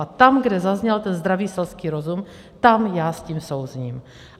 A tam, kde zazněl ten zdravý selský rozum, tam já s tím souzním.